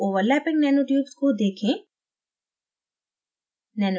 दो overlapping nanotubes को देखें